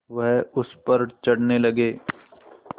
वह उस पर चढ़ने लगे